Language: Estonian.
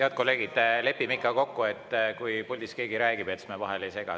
Head kolleegid, lepime ikka kokku, et kui keegi puldis räägib, siis me vahele ei sega.